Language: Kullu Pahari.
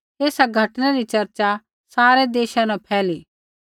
एसा घटनै री चर्चा सारै देशा न फैली